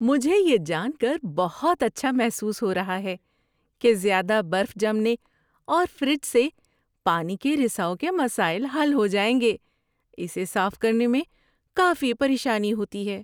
مجھے یہ جان کر بہت اچھا محسوس ہو رہا ہے کہ زیادہ برف جمنے اور فریج سے پانی کے رساؤ کے مسائل حل ہو جائیں گے – اسے صاف کرنے میں کافی پریشانی ہوتی ہے